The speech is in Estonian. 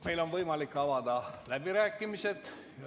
Meil on võimalik avada läbirääkimised.